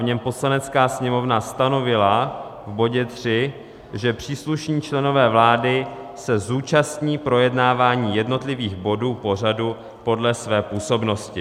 V něm Poslanecká sněmovna stanovila v bodě 3, že příslušní členové vlády se zúčastní projednávání jednotlivých bodů pořadu podle své působnosti.